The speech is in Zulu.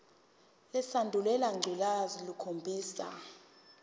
lesandulela ngculazi lukhombisa